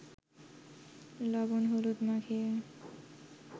লবণ-হলুদ মাখিয়ে